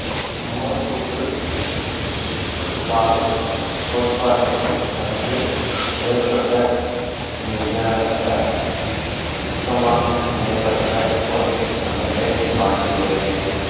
மூலக்கூற்று சுற்றுப்பாதை கோட்பாடு சற்று வேறுபட்ட நிகர சிக்மா பிணைப்பற்ற ஓர் அமைப்பைக் காட்டுகிறது